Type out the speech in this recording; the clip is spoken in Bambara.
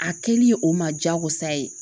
A kɛli o ma diyagosa ye